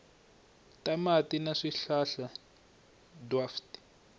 ta mati na swihlahla dwaf